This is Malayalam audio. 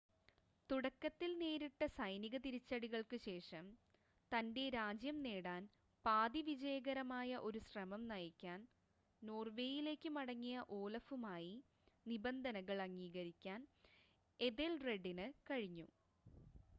തുടക്കത്തിൽ നേരിട്ട സൈനിക തിരിച്ചടികൾക്ക് ശേഷം തൻ്റെ രാജ്യം നേടാൻ പാതി വിജയകരമായ ഒരു ശ്രമം നയിക്കാൻ നോർവേയിലേക്ക് മടങ്ങിയ ഓലഫുമായി നിബന്ധനകൾ അംഗീകരിക്കാൻ എഥെൽറെഡിന് കഴിഞ്ഞു